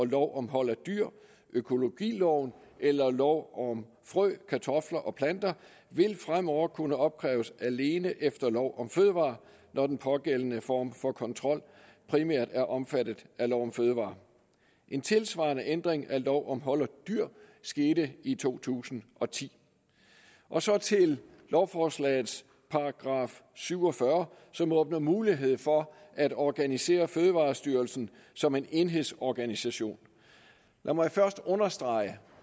lov om hold af dyr økologiloven eller lov om frø kartofler og planter vil fremover kunne opkræves alene efter lov om fødevarer når den pågældende form for kontrol primært er omfattet af lov om fødevarer en tilsvarende ændring af lov om hold af dyr skete i to tusind og ti og så til lovforslagets § syv og fyrre som åbner mulighed for at organisere fødevarestyrelsen som en enhedsorganisation lad mig først understrege